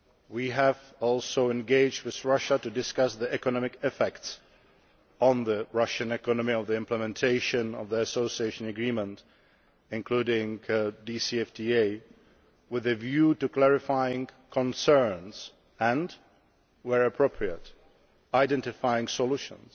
We have also engaged with Russia to discuss the effects on the Russian economy of the implementation of the association agreement including the DCFTA with a view to clarifying concerns and, where appropriate, identifying solutions.